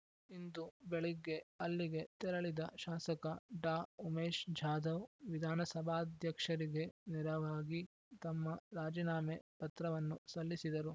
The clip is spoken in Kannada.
ಇಂದು ಬೆಳಿಗ್ಗೆ ಅಲ್ಲಿಗೆ ತೆರಳಿದ ಶಾಸಕ ಡಾ ಉಮೇಶ್ ಜಾಧವ್ ವಿಧಾನಸಭಾದ್ಯಕ್ಷರಿಗೆ ನೆರವಾಗಿ ತಮ್ಮ ರಾಜೀನಾಮೆ ಪತ್ರವನ್ನು ಸಲ್ಲಿಸಿದರು